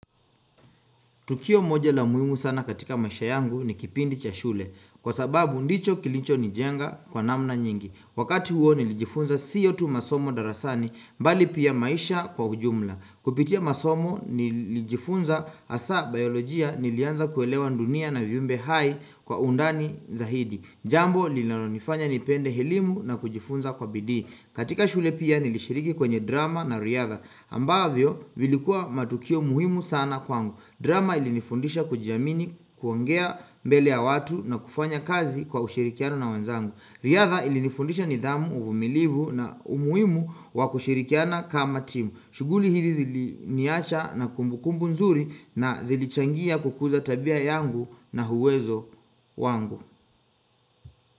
Tukio moja la muhimu sana katika maisha yangu ni kipindi cha shule Kwa sababu ndicho kilicho ni jenga kwa namna nyingi Wakati huo nilijifunza siyotu masomo darasani mbali pia maisha kwa ujumla Kupitia masomo nilijifunza hasa biyolojia Nilianza kuelewa ndunia na viumbe hai kwa undani zaidi Jambo lilano nifanya nipende elimu na kujifunza kwa bidi katika shule pia nilishiriki kwenye drama na riadha ambavyo vilikua matukio muhimu sana kwangu drama ilinifundisha kujiamini kuongea mbele ya watu na kufanya kazi kwa ushirikiano na wenzangu. Riadha ilinifundisha nidhamu, uvumilivu na umuimu wakushirikiana kama timu. Shuguli hizi zili niacha na kumbu kumbu nzuri na zili changia kukuza tabia yangu na uwezo wangu.